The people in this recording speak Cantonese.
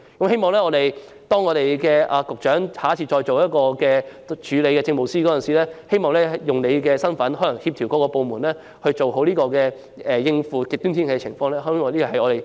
希望局長下次出任署理政務司司長時，能用你的身份協調各個部門，做好應付極端天氣的安排，這是政府......